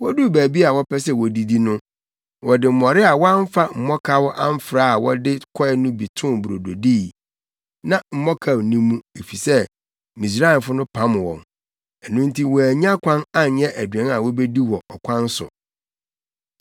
Woduu baabi a wɔpɛ sɛ wodidi no, wɔde mmɔre a wɔamfa mmɔkaw amfra a wɔde kɔe no bi too brodo dii. Na mmɔkaw nni mu, efisɛ Misraimfo no pam wɔn. Ɛno nti wɔannya kwan anyɛ aduan a wobedi wɔ ɔkwan so.